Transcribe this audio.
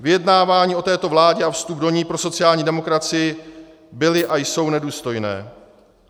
Vyjednávání o této vládě a vstup do ní pro sociální demokracii byly a jsou nedůstojné.